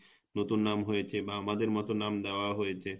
নতুন নাম হয়েছে বা আমাদের মত নাম দেয়া হয়েছে